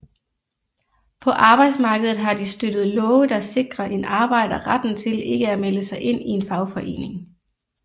På arbejdsmarkedet har de støttet love der sikrer en arbejder retten til ikke at melde sig ind i en fagforening